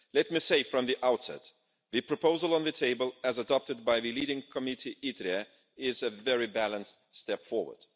Let me say from the outset the proposal on the table, as adopted by the leading committee is a very balanced step forward.